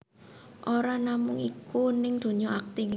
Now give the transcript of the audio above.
Ora namung iku ning dunya akting